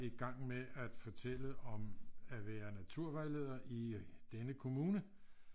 Gang med at fortælle om at være naturvejleder i denne kommune